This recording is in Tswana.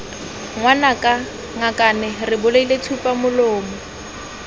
ngwanaka ngakane re bolaile tsupamolomo